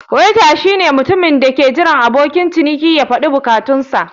Waiter shine mutumin da ke jiran abokin ciniki ya faɗi bukatunsa.